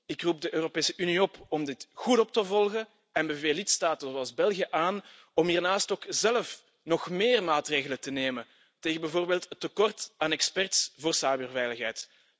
Ik roep de Europese Unie op om dit goed op te volgen en beveel lidstaten zoals België aan om hiernaast ook zelf nog meer maatregelen te nemen tegen bijvoorbeeld het tekort aan experts voor cyberveiligheid.